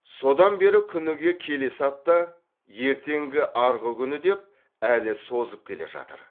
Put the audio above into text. содан бері күніге келесі апта ертеңгі арғы күні деп әлі созып келе жатыр